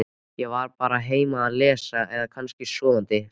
Ég var bara heima að lesa eða kannski sofandi sagði